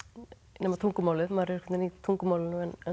nema tungumálið maður er einhvern veginn í tungumálinu